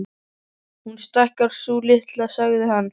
Hún stækkar, sú litla, sagði hann.